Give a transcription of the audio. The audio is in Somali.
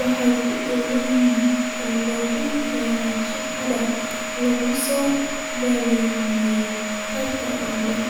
wax ku ool ah oo laga keenay shaqada laga soo bilaabo qaybta oo dhan.